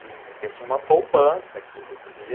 de. Eu tinha uma poupança que você ia,